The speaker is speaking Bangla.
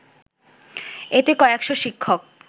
এতে কয়েক শ’ শিক্ষক